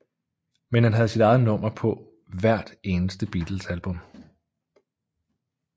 Men han havde sit eget nummer på hvert eneste Beatlesalbum